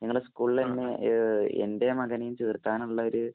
നിങ്ങടെ സ്കൂളില് തന്നെ എന്‍റെ മകനെയും ചേര്‍ക്കാനുള്ള ഒരു